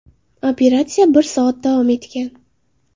Operatsiya bir soat davom etgan.